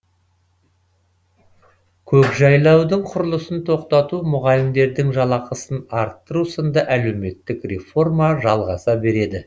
көкжайлаудың құрылысын тоқтату мұғалімдердің жалақысын арттыру сынды әлеуметтік реформа жалғаса береді